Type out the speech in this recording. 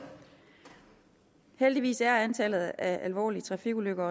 heldigvis er antallet af alvorlige trafikulykker